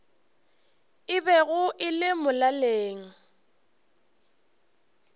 e bego e le molaleng